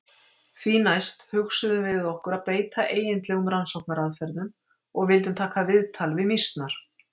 Því næst hugsuðum við okkur að beita eigindlegum rannsóknaraðferðum og vildum taka viðtal við mýsnar.